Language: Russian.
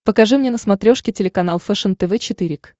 покажи мне на смотрешке телеканал фэшен тв четыре к